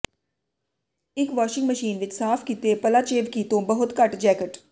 ਇੱਕ washing machine ਵਿੱਚ ਸਾਫ਼ ਕੀਤੇ ਪਲਾਚੇਵਕੀ ਤੋਂ ਬਹੁਤ ਘੱਟ ਜੈਕਟ